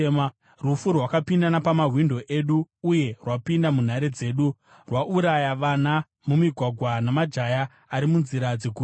Rufu rwakapinda napamawindo edu uye rwapinda munhare dzedu; rwauraya vana mumigwagwa namajaya ari munzira dzeguta.